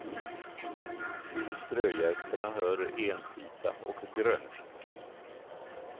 Till strögästerna hör entita och grönfink.